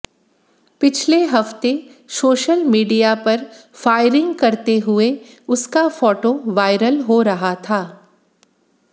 पिछले हफ्ते social media पर फायरिंग करते हुए उसका फोटो वायरल हो रहा था